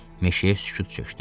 Meşəyə sükut çökdü.